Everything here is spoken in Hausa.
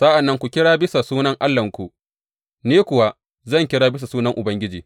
Sa’an nan ku kira bisa sunan allahnku, ni kuwa zan kira bisa sunan Ubangiji.